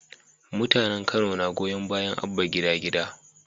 Mutanen kano na goyon bayan Abba gida gida